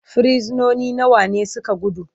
frisinoni nawa ne suka gudu?